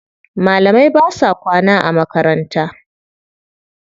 Malamai ba sa kwana a makaranta.